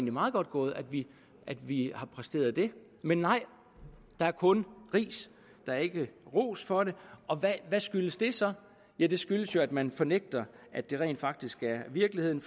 er meget godt gået at vi vi har præsteret det men nej der er kun ris der er ikke ros for det og hvad skyldes det så ja det skyldes jo at man fornægter at det rent faktisk er virkeligheden